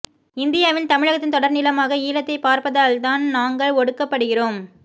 இந்தியாவின் தமிழகத்தின் தொடர் நிலமாக ஈழத்தைப் பார்ப்பதால்தான் நாங்கள் ஒடுக்கப்படுகிறோம்